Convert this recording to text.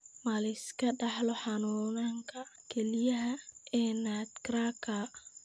Ma la iska dhaxlo xanuunka kelyaha ee nutcracker?